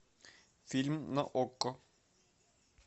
фильм на окко